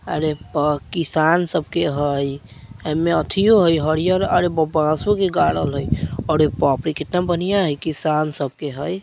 अरे प किसान सबके हई एमे एथियो हई हरियर अरे बासों के गाड़ल हई अरे बाप रे कितना बढ़िया हई किसान सब के हई।